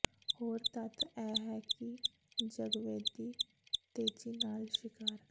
ਹੋਰ ਤੱਥ ਇਹ ਹੈ ਕਿ ਜਗਵੇਦੀ ਤੇਜ਼ੀ ਨਾਲ ਸ਼ਿਕਾਰ